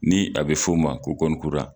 Ni a be f'o ma ko